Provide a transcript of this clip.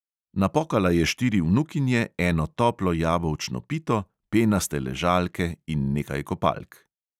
Napokala je štiri vnukinje, eno toplo jabolčno pito, penaste ležalke in nekaj kopalk.